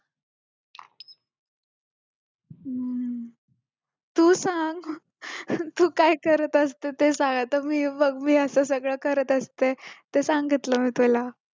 तू सांग तू काय करत असते ते सांग आता मी बघ मी असं सगळे करत असते ते सांगितलं मी तुला